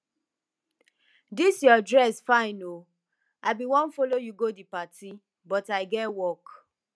dis your dress fine oo i bin wan follow you go the party but i get work